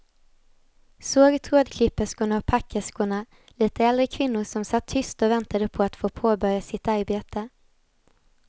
Såg trådklipperskorna och packerskorna, lite äldre kvinnor som satt tysta och väntade på att få påbörja sitt arbete.